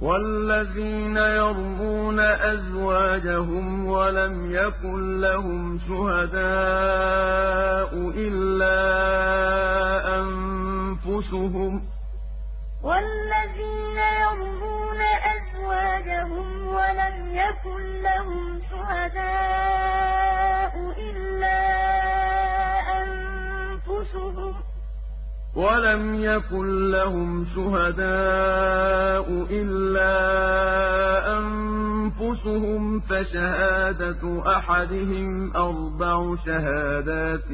وَالَّذِينَ يَرْمُونَ أَزْوَاجَهُمْ وَلَمْ يَكُن لَّهُمْ شُهَدَاءُ إِلَّا أَنفُسُهُمْ فَشَهَادَةُ أَحَدِهِمْ أَرْبَعُ شَهَادَاتٍ